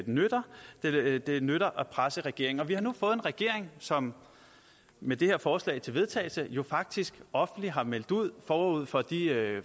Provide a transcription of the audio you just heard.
nytter det nytter at presse regeringen vi har nu fået en regering som med det her forslag til vedtagelse jo faktisk offentligt har meldt ud forud for de